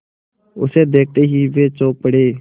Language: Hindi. उसे देखते ही वे चौंक पड़े